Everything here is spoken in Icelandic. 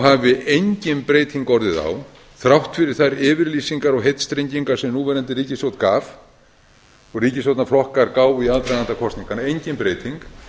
hafi engin breyting orðið á þrátt fyrir þær yfirlýsingar og heitstrengingar sem núverandi ríkisstjórn gaf og ríkisstjórnarflokkar gáfu í aðdraganda kosninganna engin breyting